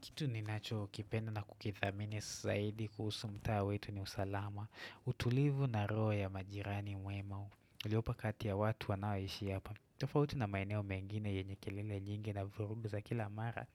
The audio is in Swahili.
Kitu ni nacho kipenda na kukithamini saidi kuhusu mtaa wetu ni usalama, utulivu na roho ya majirani mwema uliopo kati ya watu wanao ishi hapa. Tofauti na maeneo mengine yenye kelele nyingi na vurugu za kila mara,